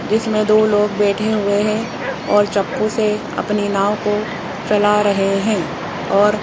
जिसमें दो लोग बैठे हुए है और चप्पू से अपनी नाव को चला रहे हैं और --